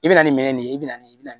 I bɛ na ni minɛn de ye i bɛ na ni i bɛ na